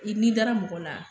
Bi n'i dara mɔgɔ la